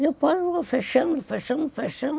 Depois foi fechando, fechando, fechando.